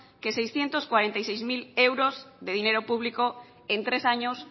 que seiscientos cuarenta y seis mil euros de dinero público en tres años